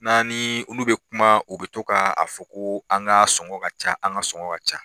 N'an ni olu bɛ kuma u bɛ to ka a fɔ ko an ka sɔngɔn ka ca an ka sɔngɔn ka ca